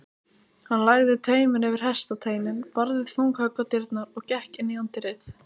Hann lagði tauminn yfir hestasteininn, barði þung högg á dyrnar og gekk inn í anddyrið.